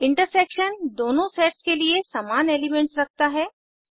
intersection दोनों sets के सिर्फ समान एलिमेंट्स रखता है